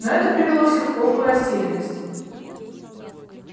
но это привело всех в полную растерянность